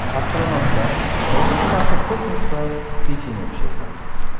Astronavtlar birinchi marta kosmosda pechenye pishirdi.